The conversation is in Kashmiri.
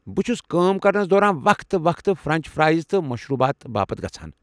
َبہٕ چھُس كٲم كرنَس دوران وقتہٕ وقتہٕ فرٛٮ۪نٛچ فرایز تہٕ مشروٗبات باپت گژھان ۔